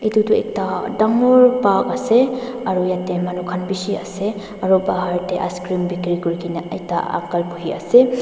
edu tu ekta dangor park ase aru yatae manu khan bishi ase aru bahar tae icecream bikiri kurikae na ekta uncle buhiase--